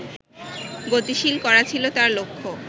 গতিশীল করা ছিল তাঁর লক্ষ্য